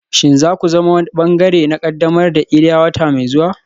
Shin za ku zama wani ɓangare na ƙaddamar da iria wata mai zuwa?